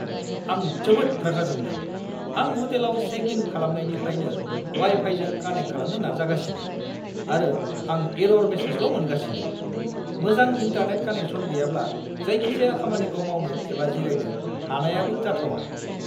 आं जोबोद रागा जोंदों! आं हटेलाव चेक इन खालामनायनिफ्रायनो वाइ-फाइजों कानेक्ट खालामनो नाजागासिनो, आरो आं एरर मेसेजल' मोनगासिनो। मोजां इन्टारनेट कानेक्सन गैयाब्ला जायखिजाया खामानिखौ मावनो एबा जिरायनो हानायाबो जाथावा।